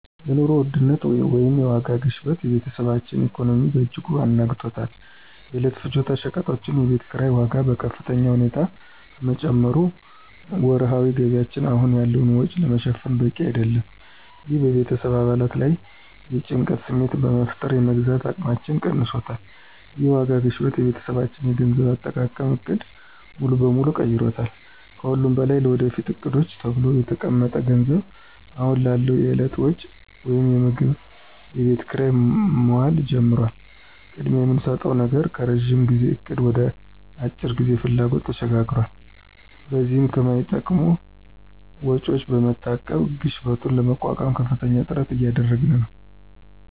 የኑሮ ውድነት (የዋጋ ግሽበት) የቤተሰባችንን ኢኮኖሚ በእጅጉ አናግቷል። የዕለት ፍጆታ ሸቀጦችና የቤት ኪራይ ዋጋ በከፍተኛ ሁኔታ በመጨመሩ ወርሃዊ ገቢያችን አሁን ያለውን ወጪ ለመሸፈን በቂ አይደለም። ይህ በቤተሰብ አባላት ላይ የጭንቀት ስሜት በመፍጠር የመግዛት አቅማችንን ቀንሶታል። ይህ የዋጋ ግሽበት የቤተሰባችንን የገንዘብ አጠቃቀም ዕቅድ ሙሉ በሙሉ ቀይሮታል። ከሁሉም በላይ ለወደፊት ዕቅዶች ተብሎ የተቀመጠው ገንዘብ አሁን ላለው የዕለት ወጪ (ምግብና የቤት ኪራይ) መዋል ጀምሯል። ቅድሚያ የምንሰጠው ነገር ከረዥም ጊዜ እቅድ ወደ የአጭር ጊዜ ፍላጎቶች ተሸጋግሯል። በዚህም ከማይጠቅሙ ወጪዎች በመታቀብ ግሽበቱን ለመቋቋም ከፍተኛ ጥረት እያደረግን ነው።